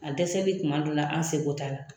A dɛsɛli kuma dɔ la an seko t'a la.